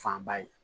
Fanba ye